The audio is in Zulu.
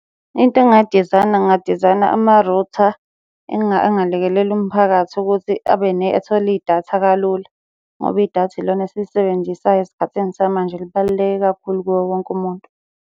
Into engingayidizayina, ngingadizayina ama-router angalekelela umphakathi ukuthi athole idatha kalula, ngoba idatha ilona esilisebenzisayo esikhathini samanje libaluleke kakhulu kuwo wonke umuntu.